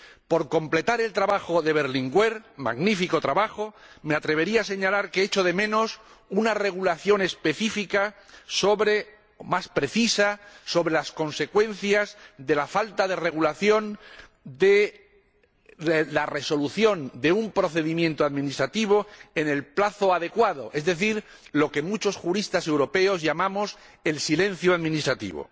Por completar el trabajo de Berlinguer, magnífico trabajo, me atrevería a señalar que echo de menos una regulación específica, más precisa, sobre las consecuencias de la falta de regulación de la resolución de un procedimiento administrativo en el plazo adecuado, es decir, lo que muchos juristas europeos llamamos el silencio administrativo.